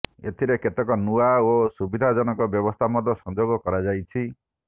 ଏଥିରେ କେତେକ ନୂଆ ଓ ସୁବିଧାଜନକ ବ୍ୟବସ୍ଥା ମଧ୍ୟ ସଂଯୋଗ କରାଯାଇଛି